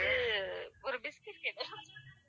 அடுத்தது ஒரு biscuit கேட்டேன்